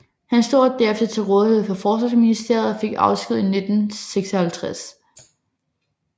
Han stod derefter til rådighed for Forsvarsministeriet og fik afsked 1956